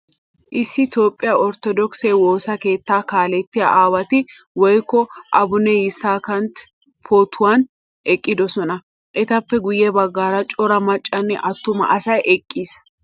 Issi toophphiyaa orttodokise woosaa keettaa kaalettiyaa aawantti woykko abune yisakantti pootuwaan eqqidosona. Etappe guye baggaara cora maccanne attuma asay eqqiis.